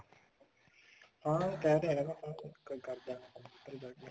ਹਾਂ ਕਿਹ ਤਾਂ ਰਿਹਾ ਵੀ ਕਰਦਾਂਗਾ